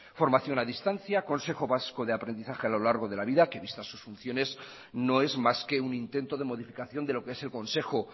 formación a distancia consejo vasco de aprendizaje a lo largo de la vida que vistas sus funciones no es más que un intento de modificación de lo que es el consejo